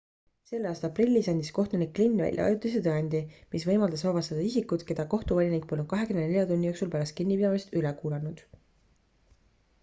selle aasta aprillis andis kohtunik glynn välja ajutise tõkendi mis võimaldas vabastada isikud keda kohtuvolinik polnud 24 tunni jooksul pärast kinnipidamist üle kuulanud